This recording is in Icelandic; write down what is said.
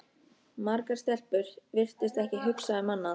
Margar stelpur virtust ekki hugsa um annað.